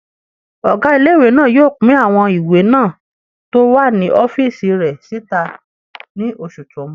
Ọgá ilé-ìwé náà yóò pín àwọn ìwé náà tó wà ní ọ́fìsì rẹ̀ síta ní oṣù tó n bọ̀